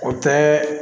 O tɛ